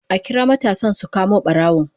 A kira matasan su kamo barawon